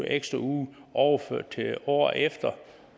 ekstra uge overført til året efter